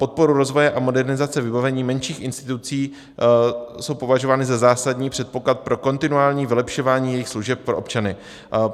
Podpory rozvoje a modernizace vybavení menších institucí jsou považovány za zásadní předpoklad pro kontinuální vylepšování jejich služeb pro občany.